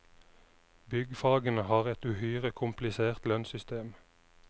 Byggfagene har et uhyre komplisert lønnssystem.